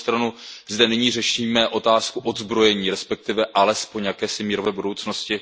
Na druhou stranu zde nyní řešíme otázku odzbrojení, respektive alespoň jakési mírové budoucnosti.